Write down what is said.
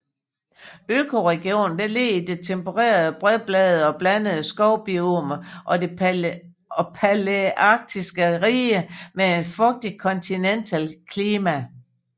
Økoregionen ligger i det tempererede bredbladede og blandede skovbiome og det palæarktiske rige med et fugtigt kontinentalt klima